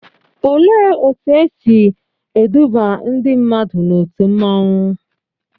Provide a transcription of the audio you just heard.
Olee otú e si eduba ndị mmadụ n'òtù mmanwu?